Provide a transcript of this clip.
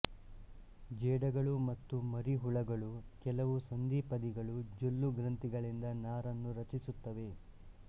ಜೇಡಗಳು ಮತ್ತು ಮರಿಹುಳುಗಳು ಕೆಲವು ಸಂಧಿಪದಿಗಳು ಜೊಲ್ಲು ಗ್ರಂಥಿಗಳಿಂದ ನಾರನ್ನು ರಚಿಸುತ್ತವೆ